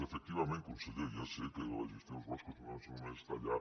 efectivament conseller ja sé que la gestió dels boscos no és només tallar